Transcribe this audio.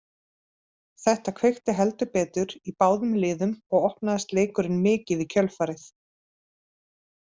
Þetta kveikti heldur betur í báðum liðum og opnaðist leikurinn mikið í kjölfarið.